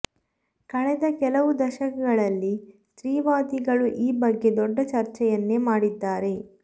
ಕಳೆದ ಕೆಲವು ದಶಕಗಳಲ್ಲಿ ಸ್ತ್ರೀವಾದಿಗಳು ಈ ಬಗ್ಗೆ ದೊಡ್ಡ ಚರ್ಚೆಯನ್ನೇ ಮಾಡಿದ್ದಾರೆ